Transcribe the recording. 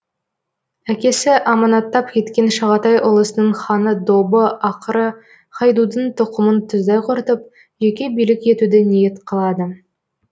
әкесі аманаттап кеткен шағатай ұлысының ханы добы ақыры хайдудың тұқымын тұздай құртып жеке билік етуді ниет қылады